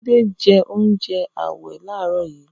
Tunde jẹ oúnjẹ ààwẹ̀ láàárọ̀ yìí